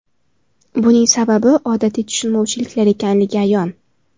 Buning sababi odatiy tushunmovchiliklar ekanligi ayon.